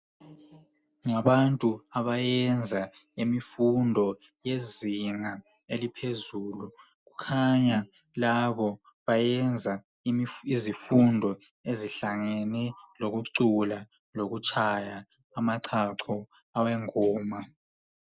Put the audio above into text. Ngabantu abayenza imfundo yezinga eliphezulu kukhanya labo bayenza izifundo ezihlangane lokucula lokutshaya amachacho awengoma.